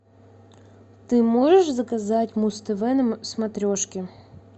ты можешь заказать муз тв на смотрешке